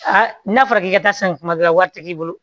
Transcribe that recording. n'a fɔra k'i ka taa san kuma dɔ la wari ti k'i bolo